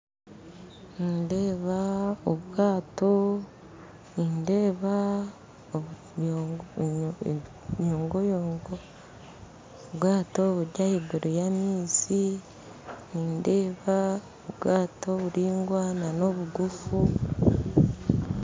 Nindeeba obwaato nindeeba emiyongoyongo obwaato buri ahaiguru y'amaizi nindeeba obwaato oburaingwa n'obuguufu